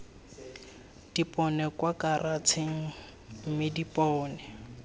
dipone kwa karatšheng mme dipone